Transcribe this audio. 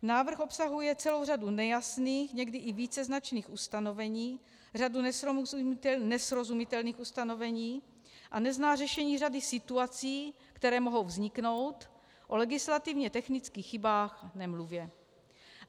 Návrh obsahuje celou řadu nejasných, někdy i víceznačných ustanovení, řadu nesrozumitelných ustanovení a nezná řešení řady situací, které mohou vzniknout, o legislativně technických chybách nemluvě.